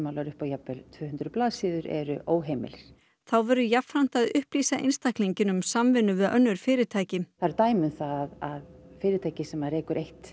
upp á jafnvel tvö hundruð blaðsíður eru óheimilir þá verður jafnframt að upplýsa einstaklinginn um samvinnu við önnur fyrirtæki það eru dæmi um að fyrirtæki sem rekur eitt